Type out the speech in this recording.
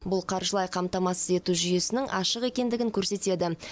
бұл қаржылай қамтамасыз ету жүйесінің ашық екендігін көрсетеді